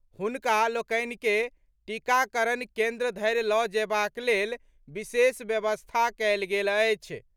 हुनका लोकनि के टीकाकरण केन्द्र धरि लऽ जयबाक लेल विशेष व्यवस्था कयल गेल अछि।